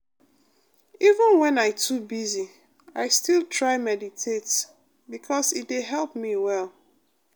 even when i too busy i still try meditate because e dey help me well.